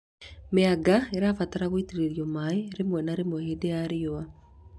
Mĩanga ĩbataraga gũitĩrĩrio maĩ rĩmwe na rĩmwe hingo ya riũa